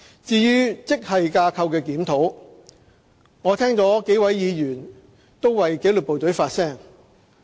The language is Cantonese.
至於職系架構檢討，我聽到幾位議員為紀律部隊發聲。